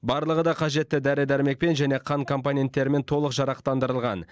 барлығы да қажетті дәрі дәрмекпен және қан компоненттерімен толық жарақтандырылған